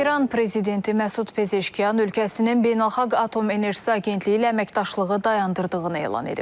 İran prezidenti Məsud Pezeşkyan ölkəsinin beynəlxalq atom enerjisi agentliyi ilə əməkdaşlığı dayandırdığını elan edib.